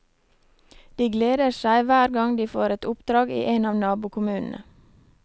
De gleder seg hver gang de får et oppdrag i en av nabokommunene.